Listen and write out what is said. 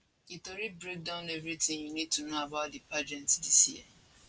dis tori break down everything you need to know about di pageant dis year